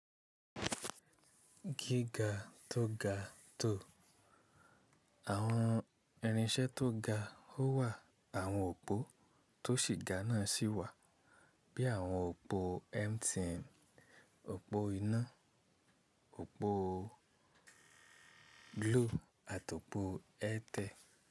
Gíga tó ga tó. Àwọn irinṣẹ́ tó ga ó wà, àwọn òpó tó sì ga náà sì wà, bí i àwọn òpó MTN, òpó iná, òpó Glo àti òpó Airtel.